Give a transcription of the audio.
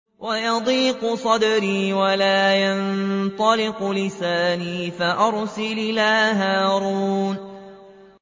وَيَضِيقُ صَدْرِي وَلَا يَنطَلِقُ لِسَانِي فَأَرْسِلْ إِلَىٰ هَارُونَ